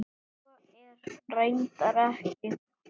Svo er reyndar ekki.